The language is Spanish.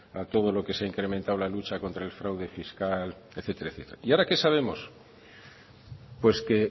a todo lo que se ha incrementado la lucha contra el fraude fiscal etcétera etcétera etcétera y ahora que sabemos pues que